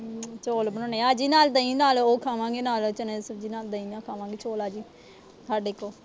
ਚੌਲ ਬਣਾਉਣੇ ਆ। ਆ ਜਾਈ, ਨਾਲ ਦਹੀਂ, ਨਾਲ ਉਹ ਖਾਵਾਂਗੇ, ਨਾਲ ਚਨੀਆਂ ਦੀ ਸਬਜੀ ਨਾਲ, ਦਹੀਂ ਨਾਲ, ਖਾਵਾਂਗੇ ਚੌਲ। ਆ ਜਾਈ, ਸਾਡੇ ਕੋਲ।